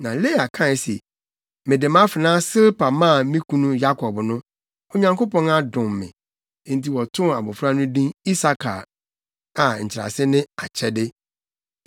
Na Lea kae se, “Mede mʼafenaa Silpa maa me kunu Yakob no, Onyankopɔn adom me.” Enti wɔtoo abofra no din Isakar a nkyerɛase ne “Akyɛde.”